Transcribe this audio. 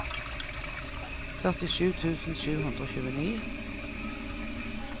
førtisju tusen sju hundre og tjueni